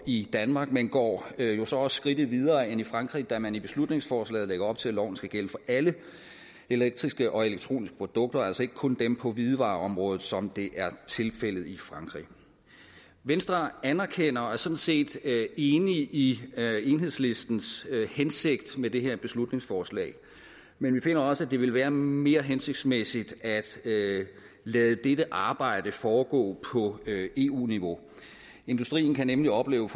i danmark men går jo så også skridtet videre end i frankrig da man i beslutningsforslaget lægger op til at loven skal gælde for alle elektriske og elektroniske produkter og altså ikke kun dem på hvidevareområdet som det er tilfældet i frankrig venstre anerkender og er sådan set enig i enhedslistens hensigt med det her beslutningsforslag men vi finder også at det vil være mere hensigtsmæssigt at lade dette arbejde foregå på eu niveau industrien kan nemlig opleve